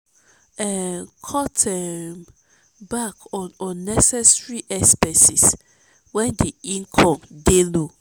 um cut um back on unnecessary expenses when di income dey low.